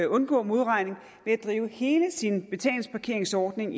undgå modregning ved at drive hele sin betalingsparkeringsordning